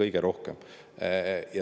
kõige rohkem.